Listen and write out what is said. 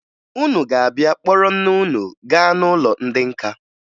Unu ga-abịa kpọrọ nne unu gaa n'ụlọ ndị nka